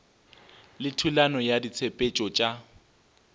le thulano ya ditshepetšo tša